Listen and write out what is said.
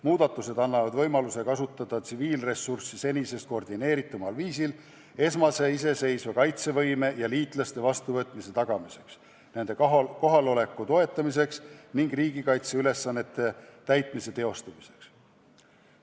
Muudatused annavad võimaluse kasutada tsiviilressurssi senisest koordineeritumal viisil esmase iseseisva kaitsevõime ja liitlaste vastuvõtmise tagamiseks, nende kohaloleku toetamiseks ning riigikaitseülesannete täitmiseks.